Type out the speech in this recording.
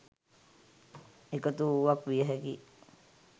එකතු වුවක් විය හැකියි.